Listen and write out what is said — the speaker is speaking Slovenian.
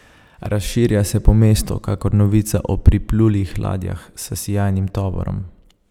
Razširja se po mestu kakor novica o priplulih ladjah s sijajnim tovorom.